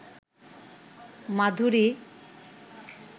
মাধুরী